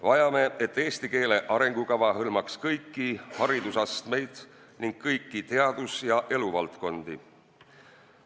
Vajame, et eesti keele arengukava hõlmaks kõiki haridusastmeid ning kõiki teadus- ja eluvaldkondi.